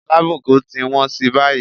Alábùkún ti wọ́n sí báyìí.